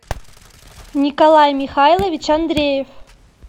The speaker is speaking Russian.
николай михайлович андреев